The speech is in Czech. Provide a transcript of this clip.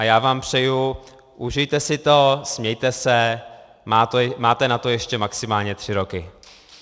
A já vám přeju, užijte si to, smějte se, máte na to ještě maximálně tři roky.